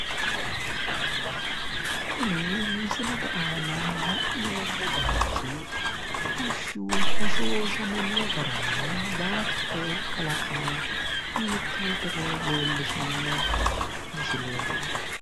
Kuni misilete aana la'neemmo baayichi bushshu hoshooshamminno garanna baattote kalaqama hiittootero leellishanno misileeti..